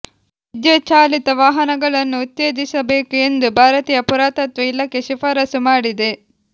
ವಿದ್ಯುತ್ ಚಾಲಿತ ವಾಹನಗಳನ್ನು ಉತ್ತೇಜಿಸಬೇಕು ಎಂದು ಭಾರತೀಯ ಪುರಾತತ್ವ ಇಲಾಖೆ ಶಿಫಾರಸು ಮಾಡಿದೆ